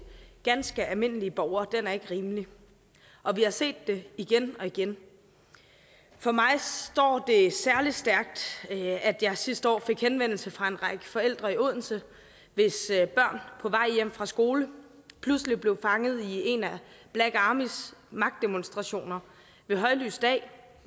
ganske almindelige borgere er ikke rimelig og vi har set det igen og igen for mig står det særlig stærkt at jeg sidste år fik henvendelse fra en række forældre i odense hvis børn på vej hjem fra skole pludselig blev fanget i en af black armys magtdemonstrationer ved højlys dag